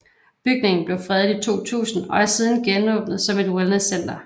Bygningen blev fredet i 2000 og er siden genåbnet som et wellnesscenter